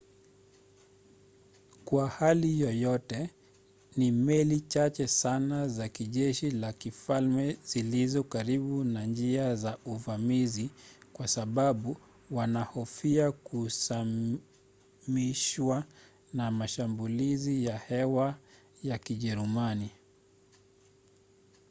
kwa hali yoyote ni meli chache sana za jeshi la kifalme zilizo karibu na njia za uvamizi kwa sababu wanahofia kusamishwa na mashambulizi ya hewa ya kijerumani